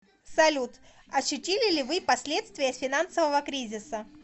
салют ощутили ли вы последствия финансового кризиса